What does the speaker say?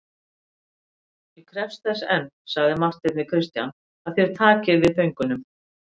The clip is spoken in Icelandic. Ég krefst þess enn, sagði Marteinn við Christian,-að þér takið við föngunum.